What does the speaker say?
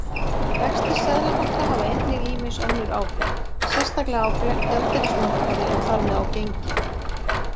Vextir Seðlabanka hafa einnig ýmis önnur áhrif, sérstaklega á gjaldeyrismarkaði og þar með á gengi.